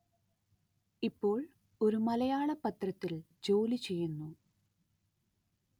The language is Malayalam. ഇപ്പോള്‍ ഒരു മലയാള പത്രത്തില്‍ ജോലി ചെയ്യുന്നു